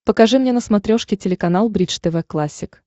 покажи мне на смотрешке телеканал бридж тв классик